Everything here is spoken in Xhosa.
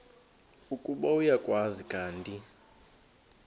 ukuba uyakwazi kanti